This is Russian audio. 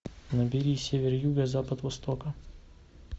набери север юга запад востока